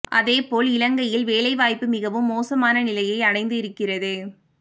அதேபோல் இலங்கையில் வேலை வாய்ப்பு மிகவும் மோசமான நிலையை அடைந்து இருக்கிறது